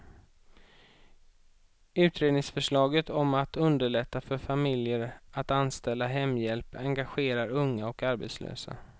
Utredningsförslaget om att underlätta för familjer att anställa hemhjälp engagerar unga och arbetslösa.